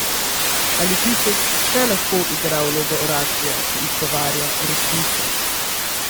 Ali pisec še lahko igra vlogo oraklja, ki izgovarja resnico?